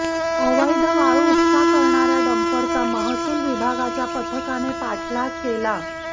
अवैध वाळू उपसा करणाऱ्या डंपरचा महसूल विभागाच्या पथकाने पाठलाग केला